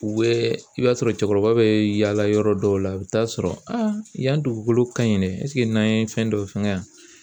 U bɛ i b'a sɔrɔ cɛkɔrɔba bɛ yaala yɔrɔ dɔw la , i bɛ t'a sɔrɔ a yan dugukolo ka ɲin yɛrɛ n'an ye fɛn dɔw fɛngɛ yan